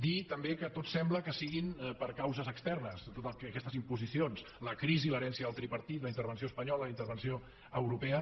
dir també que sembla que siguin per causes externes aquestes imposicions la crisi l’herència del tripartit la intervenció espanyola la intervenció europea